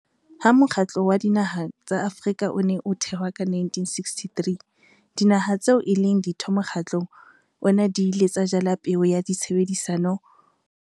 Ha Mokgatlo wa Dinaha tsa Afrika o ne o thewa ka 1963, Dinaha tseo e leng Ditho mokgatlong ona di ile tsa jala peo ya tshebedisano mmoho le bonngwe ntshetsopeleng ya bophelo bo botle bakeng sa batho bohle ba Afrika.